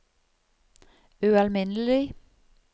ualminnelig